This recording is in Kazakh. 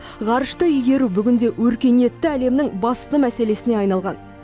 ғарышты игеру бүгінде өркениетті әлемнің басты мәселесіне айналған